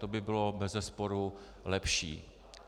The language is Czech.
To by bylo bezesporu lepší.